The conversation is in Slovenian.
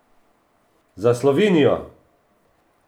Za Slovenijo!